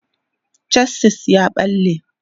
chasis ya ɓalle